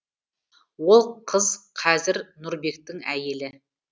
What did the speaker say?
ол қыз қазір нұрбектің әйелі